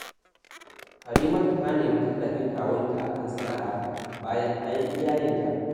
Karimatu ta nemi tallafin kawunta a kan sana’arata, bayanta yi iya yinta